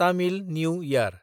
तामिल निउ यार